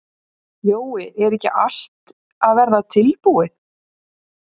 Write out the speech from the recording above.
Jói, er ekki allt að verða tilbúið?